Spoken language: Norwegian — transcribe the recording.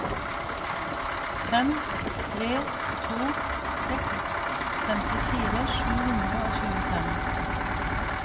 fem tre to seks femtifire sju hundre og tjuefem